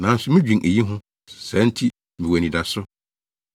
Nanso midwen eyi ho; saa nti mewɔ anidaso.